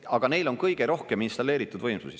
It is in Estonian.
Aga neil on kõige rohkem installeeritud võimsusi.